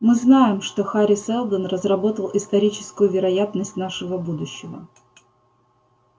мы знаем что хари сэлдон разработал историческую вероятность нашего будущего